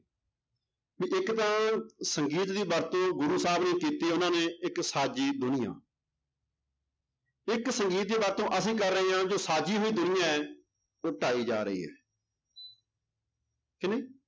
ਵੀ ਇੱਕ ਤਾਂ ਸੰਗੀਤ ਦੀ ਵਰਤੋਂ ਗੁਰੂ ਸਾਹਿਬ ਨੇ ਕੀਤੀ ਉਹਨਾਂ ਨੇ ਇੱਕ ਸਾਜੀ ਦੁਨੀਆਂ ਇੱਕ ਸੰਗੀਤ ਦੀ ਵਰਤੋਂ ਅਸੀਂ ਕਰ ਰਹੇ ਹਾਂ ਜੋ ਸਾਜੀ ਹੋਈ ਦੁਨੀਆ ਹੈ ਉਹ ਢਾਈ ਜਾ ਰਹੀ ਹੈ ਕਿ ਨਹੀਂ